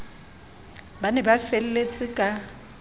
ba ne ba felletse ka